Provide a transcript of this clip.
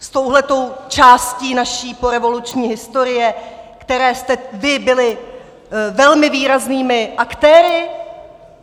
S touto částí naší porevoluční historie, které jste vy byli velmi výraznými aktéry?